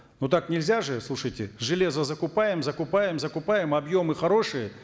ну так нельзя же слушайте железо закупаем закупаем закупаем объемы хорошие